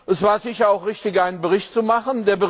Es war sicher auch richtig, einen Bericht zu machen.